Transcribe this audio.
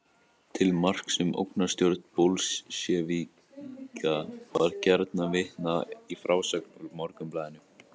Til marks um ógnarstjórn bolsévíka var gjarnan vitnað í frásögn úr Morgunblaðinu.